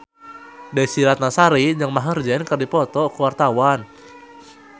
Desy Ratnasari jeung Maher Zein keur dipoto ku wartawan